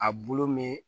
A bulu me